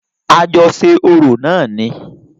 A jọ ṣe orò náà ni.